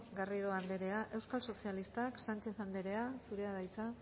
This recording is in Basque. garrido anderea euskal sozialistak sánchez anderea zurea da hitza